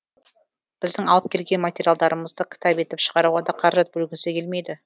біздің алып келген материалдарымызды кітап етіп шығаруға да қаражат бөлгісі келмейді